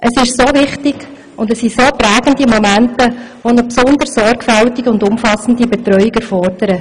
Das ist wichtig, das sind prägende Momente, die eine besonders sorgfältige und umfassende Betreuung erfordern;